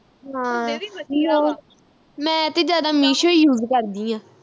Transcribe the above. ਹਾਂ ਮੈਂ ਤੇ ਜਿਆਦਾ meeshouse ਕਰਦੀ ਆ